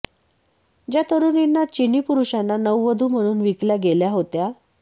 ज्या तरुणींना चिनी पुरुषांना नववधू म्हणून विकल्या गेल्या होत्या